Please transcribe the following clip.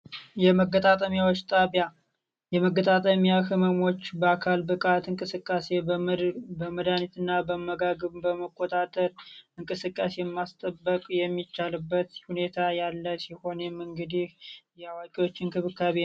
የመገጣጠሚያዎች ጣቢያ የመገጣጠሚያ ህመሞች በአካል ብቃት እንቅስቃሴ በመድሃኒት እና በአመጋገብ በመቆጣጠር እንቅስቃሴ ማስጠበቅ የሚቻልበት ሁኔታ ያለ ሲሆን እንግዲህ የአዋቂዎች እንክብካቤ ነው።